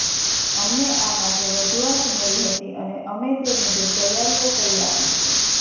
અમને આ માટે રજૂઆત મળી હતી અને અમે તે મુજબ તૈયારીઓ કરી આપી છે